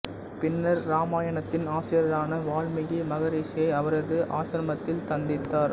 பின்னர் இராமாயணத்தின் ஆசிரியரான வால்மீகி மகரிஷியை அவரது ஆஷ்ரமத்தில் சந்தித்தார்